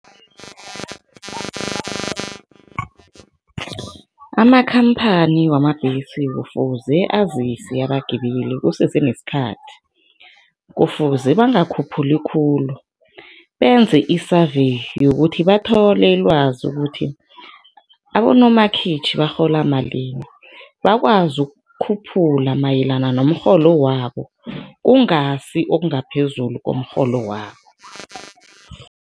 Amakhamphani wamabhesi kufuze azise abagibeli kusese nesikhathi. Kufuze bangakhuphuli khulu, benze i-survey yokuthi bathole ilwazi ukuthi, abonomakhitjhi barhola malini, bakwazi ukukhuphula mayelana nomrholo wabo, kungasi okungaphezulu komrholo wabo.